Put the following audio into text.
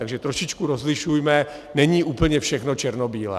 Takže trošičku rozlišujme, není úplně všechno černobílé.